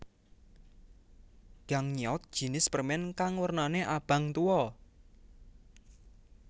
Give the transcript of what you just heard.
Gangnyeot jinis permen kang wernane abang tuwa